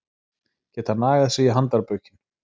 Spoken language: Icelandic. Geta nagað sig í handarbökin